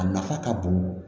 A nafa ka bon